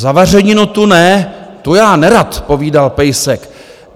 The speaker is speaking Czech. "Zavařeninu tu ne, tu já nerad", povídal pejsek.